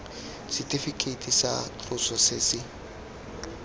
setifikeiti tsa tloso se se